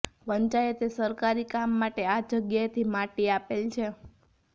પંચાયતે સરકારી કામ માટે આ જગ્યાએથી માટી આપેલ છે